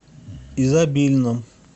изобильном